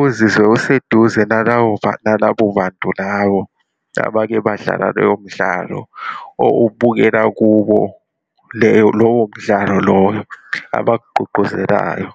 uzizwe useduze nalabo bantu labo abake badlala loyo mdlalo, owubukela kubo leyo, lowo mdlalo lowo abakugqugquzelayo.